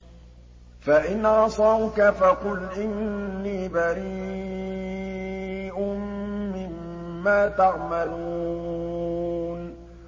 فَإِنْ عَصَوْكَ فَقُلْ إِنِّي بَرِيءٌ مِّمَّا تَعْمَلُونَ